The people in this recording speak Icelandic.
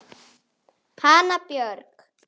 Hanna Björg.